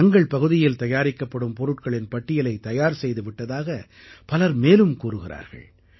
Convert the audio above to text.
தங்கள் பகுதியில் தயாரிக்கப்படும் பொருட்களின் பட்டியலைத் தயார் செய்து விட்டதாக பலர் மேலும் கூறுகிறார்கள்